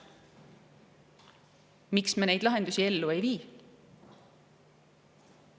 Miks me neid lahendusi ellu ei vii?